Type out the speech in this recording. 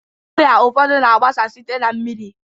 Ọrịa ụfọdụ na-agbasa site na mmiri.